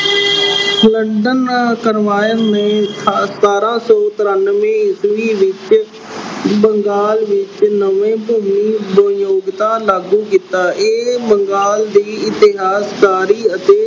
ਨੇ ਸਤਾਰਾਂ ਸੌ ਤਰਾਨਵੇ ਈਸਵੀ ਵਿੱਚ ਬੰਗਾਲ ਵਿੱਚ ਨਵੇਂ ਭੂਮੀ ਉਦਯੋਗਿਤਾ ਲਾਗੂ ਕੀਤਾ। ਇਹ ਬੰਗਾਲ ਦੀ ਇਤਿਹਾਸਕਾਰੀ ਅਤੇ